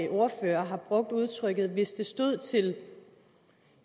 ordførere har brugt udtrykket at hvis det stod til